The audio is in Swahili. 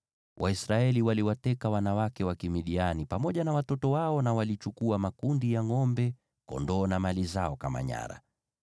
Waisraeli waliwateka wanawake wa Kimidiani pamoja na watoto wao na walichukua makundi ya ngʼombe, kondoo na mali zao kama nyara.